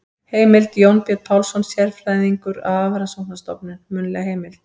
Heimild: Jónbjörn Pálsson, sérfræðingur á Hafrannsóknarstofnun- munnleg heimild.